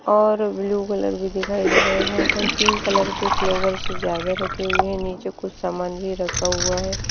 और blue colour भी दिखाई दे रहे हैं यहां पर पिंक कलर के फ्लावर सजाके रखे हुए है नीचे कुछ सामान भी रखा हुआ है।